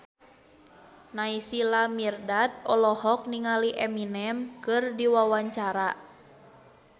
Naysila Mirdad olohok ningali Eminem keur diwawancara